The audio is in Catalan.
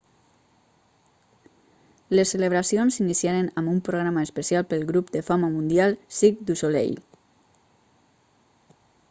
les celebracions s'iniciaren amb un programa especial pel grup de fama mundial cirque du soleil